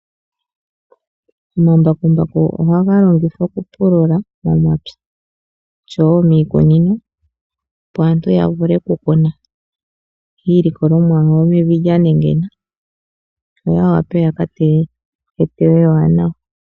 Omambakumbaku ohaga longithwa okupulula momapya, oshowo miikunino, opo aantu yavule okukuna iilikolomwa yawo mevi lyanengena, yo yawape yakateyo eteyo ewanawa.